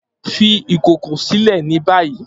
fi ìkòkò silẹ ni bayi!